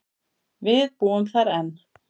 Við búum þar enn.